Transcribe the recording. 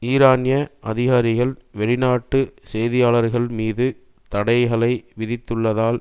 ஈரானிய அதிகாரிகள் வெளிநாட்டு செய்தியாளர்கள் மீது தடைகளை விதித்துள்ளதால்